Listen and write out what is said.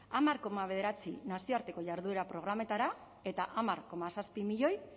hamar koma bederatzi nazioarteko jarduera programetara eta hamar koma zazpi milioi